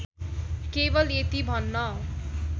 केवल यति भन्न